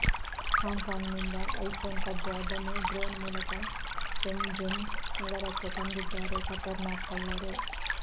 ಹಾಂಗ್ Kong ನಿಂದ iPhone ಕದ್ದು ಅದನ್ನು ಡ್ರೋನ್ ಮೂಲಕ ಶೆನ್ಜೆನ್ ನಗರಕ್ಕೆ ತಂದಿದ್ದಾರೆ ಖತರ್ನಾಕ್ ಕಳ್ಳರು